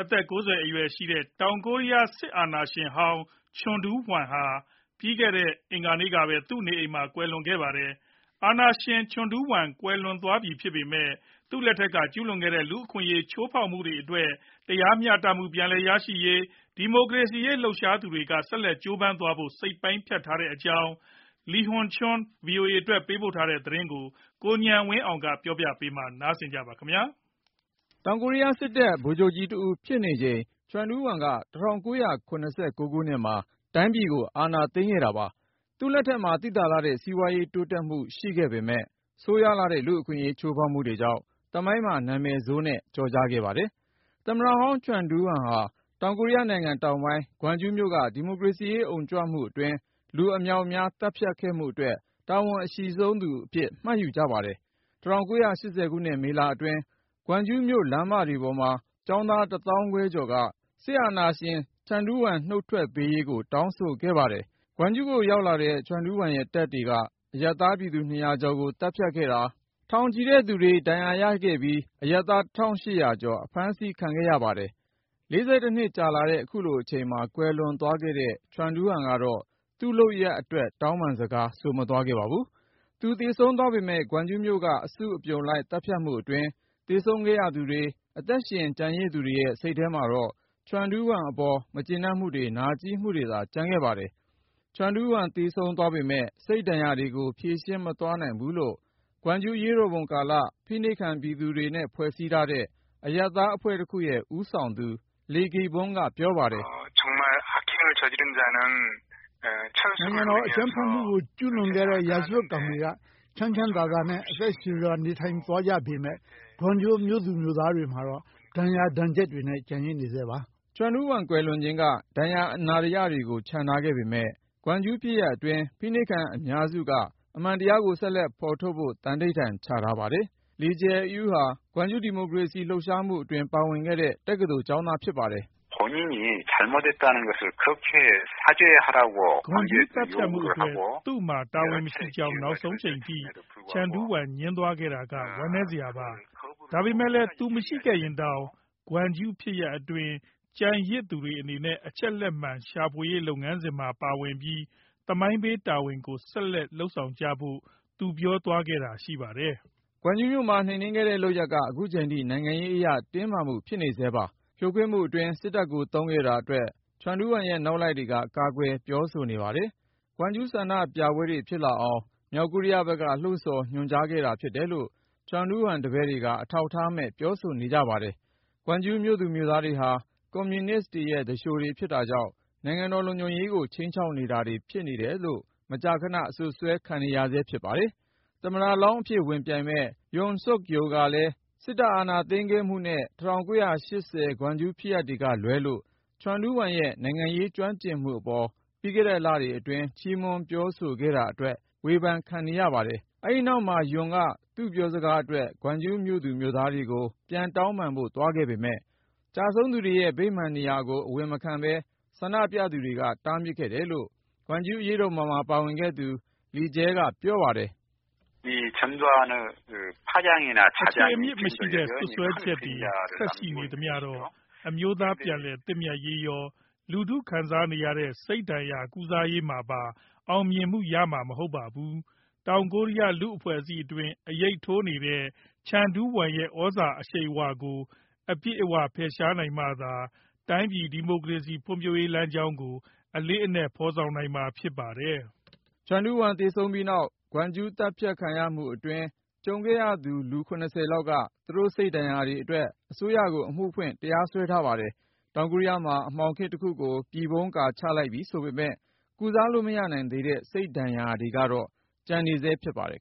အသက် ၉၀ အရွယ်ရှိတဲ့ တောင်ကိုရီးယား စစ်အာဏာရှင်ဟောင်း ချန်ဒူးဝမ်ဟာ ပြီးခဲ့တဲ့ အင်္ဂါနေ့ကပဲ သူ့နေအိမ်မှာ ကွယ်လွန်သွားခဲ့ပါတယ်။ အာဏာရှင် ချန်ဒူးဝမ် ကွယ်လွန်သွားပြီ ဖြစ်ပေမယ့် သူ့လက်ထက်တုန်းက ကျူးလွန်ခဲ့တဲ့ လူ့အခွင့်အရေး ချိုးဖောက်မှုတွေအတွက် တရားမျှတမှု ပြန်ရရေး၊ ဒီမိုကရေစီရေး လှုပ်ရှားသူတွေက ဆက်လက်ကြိုးပမ်းသွားဖို့ စိတ်ပိုင်းဖြတ်ထားကြတဲ့အကြောင်း Lee Hyun Choi ဗွီအိုအေအတွက် ပေးပို့တဲ့သတင်းကို ကိုဉာဏ်ဝင်းအောင် ပြောပြမှာ ဖြစ်ပါတယ်။ တောင်ကိုရီးယားစစ်တပ် ဗိုလ်ချုပ်ကြီးတဦးဖြစ်နေချိန် ချန်ဒူးဝမ်က ၁၉၇၉ ခုနှစ်မှာ တိုင်းပြည်ကို အာဏာသိမ်းခဲ့တာပါ။ သူ့လက်ထက်မှာ သိသာလှတဲ့ စီးပွားရေး တိုးတက်မှု ရှိခဲ့ပေမယ့် ဆိုးရွားလှတဲ့ လူ့အခွင့်အရေး ချိုးဖောက်မှုတွေကြောင့် သမိုင်းမှာ နာမည်ဆိုးနဲ့ ကျော်ကြားခဲ့ပါတယ်။ သမ္မတဟောင်း ချန်ဒူးဝမ်ဟာ တောင်ကိုရီးယားနိုင်ငံ တောင်ပိုင်း ဂွမ်ဂျူးမြို့က ဒီမိုကရေစီရေး အုံကြွမှုအတွင်း လူအမြောက်အမြား သတ်ဖြတ်ခဲ့မှုအတွက် တာဝန်အရှိဆုံးသူအဖြစ် မှတ်ယူကြပါတယ်။ ၁၉၈၀ ခုနှစ် မေလအတွင်း ဂွမ်ဂျူးမြို့ လမ်းမတွေပေါ်မှာ ကျောင်းသား ၁ သောင်းခွဲကျော်က စစ်အာဏာရှင် ချန်ဒူးဝမ် နုတ်ထွက်ပေးရေးကို တောင်းဆိုခဲ့တာပါ။ ဂွမ်ဂျူးကို ရောက်လာတဲ့ ချန်ဒူးဝမ်ရဲ့ တပ်တွေက အရပ်သားပြည်သူ ၂၀၀ ကျော်ကို သတ်ဖြတ်ခဲ့သလို ထောင်ချီတဲ့သူတွေ ဒဏ်ရာရခဲ့ပြီး အရပ်သား ၁,၈၀၀ ကျော် အဖမ်းဆီးခံခဲ့ရပါတယ်။ ၄၁ နှစ်ကြာလာတဲ့ ခုလိုအချိန်မှာ ကွယ်လွန်သွားတဲ့ ချန်ဒူးဝမ်ကတော့ သူ့လုပ်ရပ်တွေအတွက် တောင်းပန်စကား ဆိုမသွားခဲ့ပါဘူး။ သူသေဆုံးသွားပေမယ့် ဂွမ်ဂျူးမြို့က အစုအပြုံလိုက် သတ်ဖြတ်မှုအတွင်း သေဆုံးခဲ့ရသူတွေ၊ အသက်ရှင် ကျန်ရစ်သူတွေရဲ့ စိတ်ထဲမှာတော့ ချန်ဒူးဝမ်အပေါ် မကျေနပ်မှုတွေ နာကြည်းမှုတွေသာ ကျန်နေခဲ့ပါတယ်။ ချန်ဒူးဝမ် သေဆုံးသွားပေမယ့် စိတ်ဒဏ်ရာတွေကို ဖြေရှင်းမသွားနိုင်ဘူးလို့ ဂွမ်ဂျူးအရေးတော်ပုံကာလ ဖိနှိပ်ခံပြည်သူတွေနဲ့ ဖွဲ့စည်းထားတဲ့ အရပ်သားအဖွဲ့တခုရဲ့ ဦးဆောင်သူ Lee Gi-bong က ပြောပါတယ်။ "နိုင်ငံတော်အကြမ်းဖက်မှုကို ကျူးလွန်ခဲ့တဲ့ ရာဇဝတ်ကောင်တွေက ချမ်းချမ်းသာသာနဲ့ အသက်ရှည်စွာ နေထိုင်သွားကြပေမယ့် ဂွမ်ဂျူးမြို့သူမြို့သားတွေမှာတော့ ဒဏ်ရာတွေ ကျန်နေဆဲပါ။" ချန်ဒူးဝမ် ကွယ်လွန်ခြင်းက ဒဏ်ရာအနာတရတွေကို ချန်ထားခဲ့ပေမယ့် ဂွမ်ဂျူးဖြစ်ရပ်အတွင်း ဖိနှိပ်ခံအများစုက အမှန်တရားကို ဆက်လက်ဖော်ထုတ်ဖို့ သန္နိဋ္ဌာန်ချထားပါတယ်။ Lee Jae-eui ဟာ ဂွမ်ဂျူး ဒီမိုကရေစီ လှုပ်ရှားမှုအတွင်း ပါဝင်ခဲ့တဲ့ တက္ကသိုလ်ကျောင်းသား ဖြစ်ပါတယ်။ "ဂွမ်ဂျူးသတ်ဖြတ်မှုအတွက် သူ့မှာ တာဝန်မရှိကြောင်း နောက်ဆုံးအချိန်ထိ ချန်ဒူးဝမ် ငြင်းသွားခဲ့တာက ဝမ်းနည်းစရာပါ။ ဒါပေမယ့်လည်း သူမရှိခဲ့ရင်တောင် ဂွမ်ဂျူးဖြစ်ရပ်အတွင်း ကျန်ရစ်သူတွေအနေနဲ့ အချက်လက်မှန် ရှာဖွေရေး လုပ်ငန်းစဉ်မှာ ပါဝင်ပြီး သမိုင်းပေးတာဝန်ကို ဆက်လုပ်ကြဖို့ သူပြောသွားခဲ့တာ ရှိပါတယ်။" ဂွမ်ဂျူးမြို့မှာ နှိမ်နင်းခဲ့တဲ့လုပ်ရပ်က ခုချိန်ထိ နိုင်ငံရေးအရ တင်းမာမှု ဖြစ်နေဆဲပါ။ ဖြိုခွင်းမှုအတွင်း စစ်တပ်ကို သုံးခဲ့တာအတွက် ချန်ဒူးဝမ်ရဲ့ နောက်လိုက်တွေက ကာကွယ်ပြောဆိုနေပါတယ်။ ဂွမ်ဂျူး ဆန္ဒပြပွဲတွေ ဖြစ်လာအောင် မြောက်ကိုရီးယားဘက်က လှုံ့ဆော် ညွှန်ကြားခဲ့တာ ဖြစ်တယ်လို့ ချန်ဒူးဝမ်တပည့်တွေက အထောက်ထားမဲ့ ပြောဆိုနေကြပါတယ်။ ဂွမ်ဂျူးမြို့သူမြို့သားတွေဟာ ကွန်မြူနစ်ရဲ့ သူလျှိုတွေ ဖြစ်တာကြောင့် နိုင်ငံတော်လုံခြုံရေးကို ခြိမ်းခြောက်နေသူတွေ ဖြစ်တယ်လို့ မကြာခန အစွပ်စွဲခံနေရဆဲ ဖြစ်ပါတယ်။ သမ္မတလောင်းအဖြစ် ဝင်ပြိုင်မယ့် Yoon Seok-youl က စစ်အာဏာသိမ်းခဲ့မှုနဲ့ ၁၉၈၀ ဂွမ်ဂျူးဖြစ်ရပ်တွေကလွဲလို့ ချန်ဒူးဝမ်ရဲ့ နိုင်ငံရေးကျွမ်းကျင်မှုအပေါ် ပြီးခဲ့တဲ့လအတွင်း ချီးမွမ်းပြောဆိုခဲ့တာအတွက် ဝေဖန်ခံနေရပါတယ်။ အဲဒီနောက်မှာ Yoon က သူ့ပြောစကားအတွက် ဂွမ်ဂျူးမြို့သားတွေကို ပြန်တောင်းပန်ဖို့ သွားခဲ့ပေမယ့် ကျဆုံးသူတွေရဲ့ ဗိမာန်နေရာကို အဝင်မခံဘဲ ဆန္ဒပြသူတွေက တားမြစ်ခဲ့တယ်လို့ ဂွမ်ဂျူးအရေးတော်ပုံမှာ ပါဝင်ခဲ့သူ Lee Jae-eui က ပြောပါတယ်။ “အခြေအမြစ်မရှိတဲ့ စွပ်စွဲချက်တွေ ဆက်ရှိနေသမျှတော့ အမျိုးသားပြန်လည်သင့်မြတ်ရေးရော၊ လူထုခံစားနေရတဲ့ စိတ်ဒဏ်ရာ ကုစားရေးမှာပါ အောင်မြင်မှုရမှာ မဟုတ်ပါဘူး။ တောင်ကိုရီးယား လူ့အဖွဲ့အစည်းအတွင်း အရိပ်ထိုးနေတဲ့ ချန်ဒူးဝမ်ရဲ့ သြဇာအရှိန်အဝါကို အပြည့်အဝ ဖယ်ရှားနိုင်မှသာ တိုင်းပြည် ဒီမိုကရေစီ ဖွံ့ဖြိုးရေး လမ်းကြောင်းကို အလေးနက် အကောင်အထည်ဖော်နိုင်မှာ ဖြစ်ပါတယ်။” ချန်ဒူးဝမ် သေဆုံးပြီးနောက် ဂွမ်ဂျူး သတ်ဖြတ်ခံရမှုအတွင်း ကြုံခဲ့ရသူ လူ ၇၀ လောက်က သူတို့ စိတ်ဒဏ်ရာတွေအတွက် အစိုးရကို အမှုဖွင့် တရားစွဲထားပါတယ်။ တောင်ကိုရီးယားမှာ အမှောင်ခေတ်တခုကို ပြည်ဖုံးလိပ်ကာ ချလိုက်ပြီဆိုပေမယ့် ကုစားလို့ မရနိုင်သေးတဲ့ စိတ်ဒဏ်ရာတွေကတော့ ကျန်နေဆဲ ဖြစ်ပါတယ်